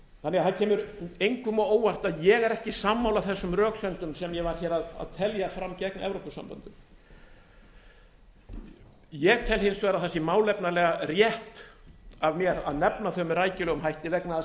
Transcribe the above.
þannig að það kemur engum á óvart að ég er ekki sammála þessum röksemdum sem ég var að telja fram gegn evrópusambandinu ég tel hins vegar að það sé málefnalega rétt af mér að nefna það með rækilegum hætti vegna þess að þau